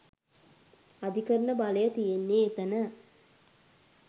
අධිකරණ බලය තියෙන්නේ එතන.